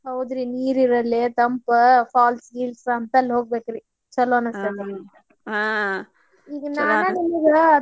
ಹೌದ್ರಿ ನೀರ್ ಇರುವಲ್ಲೇ ತಂಪ falls ಗಿಲ್ಸ್ ಹಂತಲ್ಲೆ ಹೋಗ್ಬೇಕ್ರಿ ಚುಲೊ ಅನಿಸ್ತೇತಿ. ಹ ಈಗ ನಾನು ನಿಮ್ಗ.